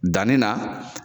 Danni na.